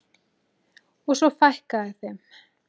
Og svo fækkaði þeim.